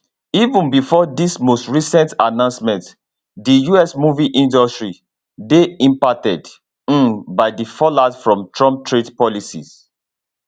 even bifor dis most recent announcement di us movie industry dey impacted um by di fallout from trump trade policies